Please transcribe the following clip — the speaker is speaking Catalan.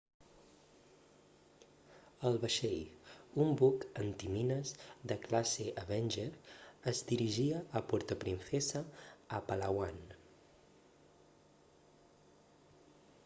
el vaixell un buc antimines de classe avenger es dirigia a puerto princesa a palawan